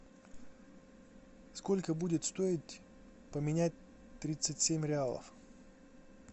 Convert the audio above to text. сколько будет стоить поменять тридцать семь реалов